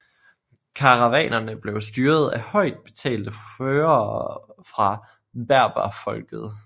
Karavanerne blev styret af højt betalte førere fra berberfolket